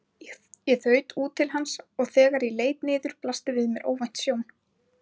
Ég þaut út til hans og þegar ég leit niður blasti við mér óvænt sjón.